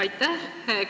Aitäh!